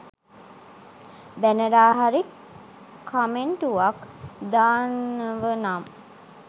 බැනලා හරි කමෙන්ටුවක් දානවනම්